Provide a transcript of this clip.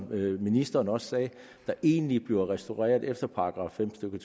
hvilket ministeren også sagde der egentlig bliver restaureret efter § fem stykke